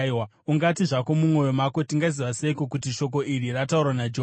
Ungati zvako mumwoyo mako, “Tingaziva seiko kuti shoko iri rataurwa naJehovha?”